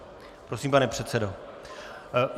Prosím, pane předsedo.